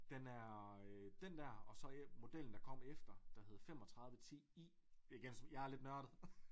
Den er den der og så modellen der kom efter der hed 35 10 I det kan jeg er lidt nørdet